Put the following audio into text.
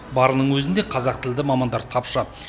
барының өзінде қазақ тілді мамандар тапшы